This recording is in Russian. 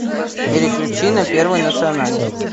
переключи на первый национальный